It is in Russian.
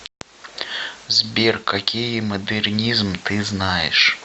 сбер какие модернизм ты знаешь